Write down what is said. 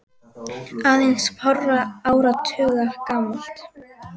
aðeins fárra áratuga gamalt.